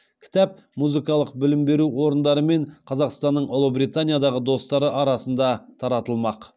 кітап музыкалық білім беру орындары мен қазақстанның ұлыбританиядағы достары арасында таратылмақ